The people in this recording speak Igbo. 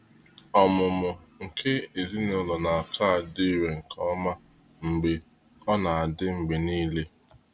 ọmụmụ nke ezinụlọ na aka adị irè nke ọma mgbe ọ na-adị mgbe niile.